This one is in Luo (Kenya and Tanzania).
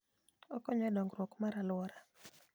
Okonyo e dongruok mar alwora.